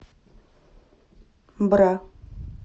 бра